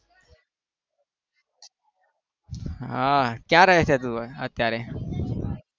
હા ક્યાં રહે છે તું અત્યારે?